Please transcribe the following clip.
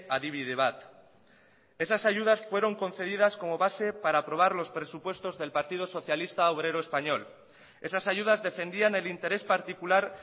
adibide bat esas ayudas fueron concedidas como base para aprobar los presupuestos del partido socialista obrero español esas ayudas defendían el interés particular